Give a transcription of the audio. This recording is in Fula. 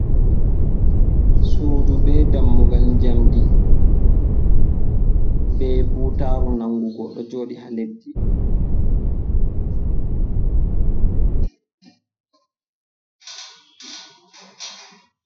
Sudu be dammugal njamdi be butaru nangugo ɗo joɗi haa leddi.